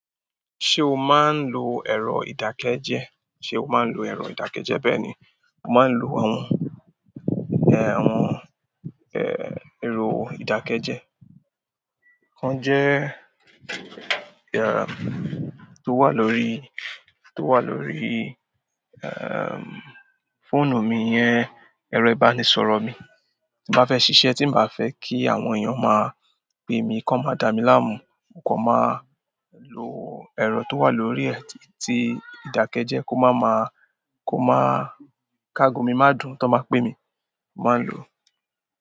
Se o maa n lo ero ìdákẹ́jẹ́? Sé o máa ń lo ẹ̀rọ ìdákẹ́jẹ́? Bẹ́ẹ̀ni, mo máa ń lo àwọn eh, àwọn eh, ẹ̀rọ ìdákẹ́jẹ́. On jẹ́ eh, tó wà lórí, tó wà lórí ehm, fóònù mi yẹn, ẹ̀rọ ìbánisọ̀rọ̀ mi. Tí n ba fẹ́ ṣiṣẹ́, tí n bà fẹ́ kí àwọn èèyàn máa pe mi kan máa dá mi láàmú, mo kan máa lo ẹ̀rọ tó wà lórí ẹ t, ti ìdákẹ́jẹ́ kó má maá, kó má, káàgo mi má dùn tọ́n bá pè mí, mo máa ń lò ó.